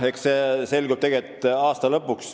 Eks see selgub aasta lõpuks.